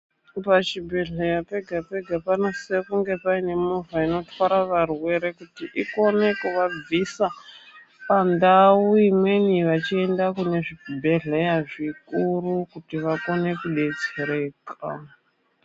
Pachibhedhleya pega pega panosisa kunge paine movha inotwara varwere kuti ikone kuva bvisa pandau imweni vachienda kune zvibhedhleya zvikuru kuti vakone kubetsereka